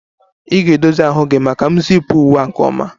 Ị ga-edozi azụ gị maka m zip uwe a nke ọma